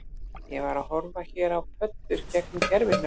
Ég var að horfa hér á pöddur gegnum gervihnött